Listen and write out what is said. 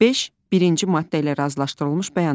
Beş birinci maddə ilə razılaşdırılmış bəyanat.